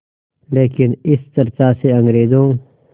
लेकिन इस चर्चा से अंग्रेज़ों